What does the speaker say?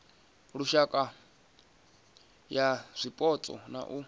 lushaka ya zwipotso na u